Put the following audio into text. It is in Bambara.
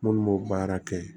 Minnu b'o baara kɛ